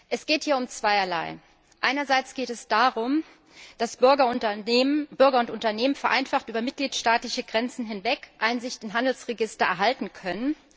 Es geht hier um zweierlei Einerseits geht es darum, dass Bürger und Unternehmen vereinfacht über Mitgliedstaatengrenzen hinweg Einsicht in Handelsregister erhalten können.